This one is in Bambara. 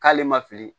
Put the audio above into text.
K'ale ma fili